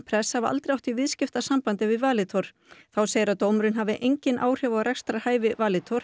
press hafi aldrei átt í viðskiptasambandi við Valitor þá segir að dómurinn hafi engin áhrif á rekstrarhæfi Valitor